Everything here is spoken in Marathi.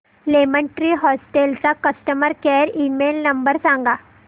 लेमन ट्री हॉटेल्स चा कस्टमर केअर ईमेल नंबर सांगा